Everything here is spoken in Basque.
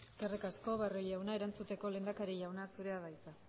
eskerrik asko barrio jauna erantzuteko lehendakari jauna zurea da hitza